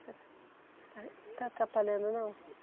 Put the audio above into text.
está atrapalhando não?